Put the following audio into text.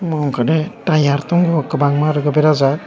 abo ungkha de tyre tongo kwbangma berajak.